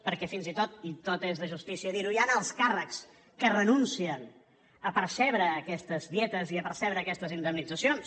perquè fins i tot i tot és de justícia dir ho hi han alts càrrecs que renuncien a percebre aquestes dietes i a percebre aquestes indemnitzacions